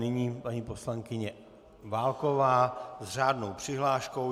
Nyní paní poslankyně Válková s řádnou přihláškou.